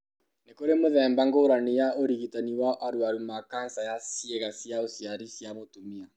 Nĩ kũrĩ mĩthemba ngũrani ya ũrigitani wa arũaru ma kanca ya ciĩga cia ũciari cia mũtumia.